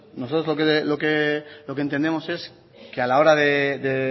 entonces nosotros lo que entendemos es que a la hora de